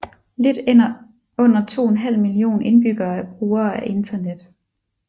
Lidt under 2½ million indbyggere er brugere af internet